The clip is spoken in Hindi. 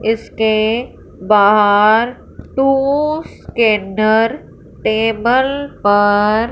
इसके बाहर टू स्कैनर टेबल पर --